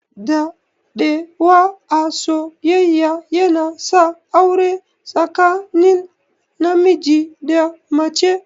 Daɗewa a soyyayya yana sa aure tsakanin namiji da mace.